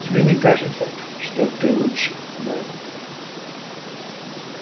тебе не кажется что так лучше мелли